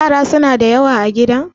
yara suna da yawa a gidan?